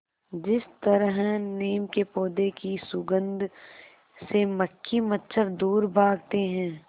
जिस तरह नीम के पौधे की सुगंध से मक्खी मच्छर दूर भागते हैं